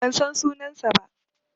Ban san sunansa ba.